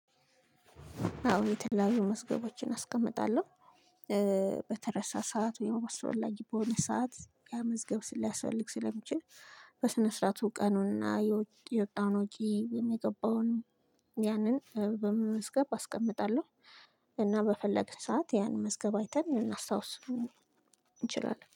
አው የትለያዩ መዝገቦችን አስቀምጣለሁ። በተረሳ ሰዓት ወይም ባስፈላጊ በሆነ ሰዓት ያ መዝገብ ሊያስፈልግ ስለሚችል። በስነ ስርዓቱ ቀኑንና የወጣውን ወጪ የሚገባውንም ያንን በመመዝገብ አስቀምጣለሁ። እና በፈለግን ሰዓት ያን መዝገብ አይተን እናስታውስ እንችላለን